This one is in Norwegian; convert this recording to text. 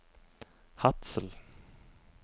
Hadsel